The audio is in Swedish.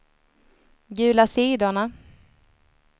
gula sidorna